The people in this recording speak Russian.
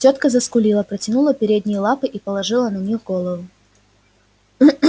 тётка заскулила протянула передние лапы и положила на них голову